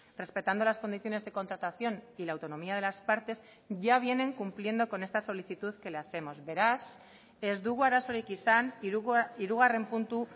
respetando las condiciones de contratación y la autonomía de las partes ya vienen cumpliendo con esta solicitud que le hacemos beraz ez dugu arazorik izan hirugarren puntu